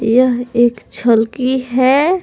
यह एक छलकी है ।